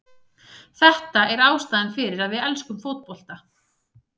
Þetta er ástæðan fyrir að við elskum fótbolta.